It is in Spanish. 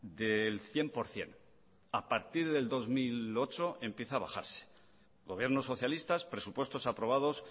del cien por ciento a partir del dos mil ocho empieza a bajarse gobiernos socialistas presupuestos aprobados